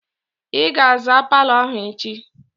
I ga-aza palọ ahụ echi!